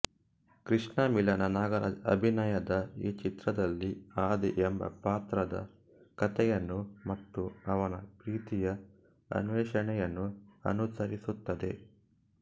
ಕೃಷ್ಣ ಮಿಲನ ನಾಗರಾಜ್ ಅಭಿನಯದ ಈ ಚಿತ್ರದಲ್ಲಿ ಆದಿ ಎಂಬ ಪಾತ್ರದ ಕಥೆಯನ್ನು ಮತ್ತು ಅವನ ಪ್ರೀತಿಯ ಅನ್ವೇಷಣೆಯನ್ನು ಅನುಸರಿಸುತ್ತದೆ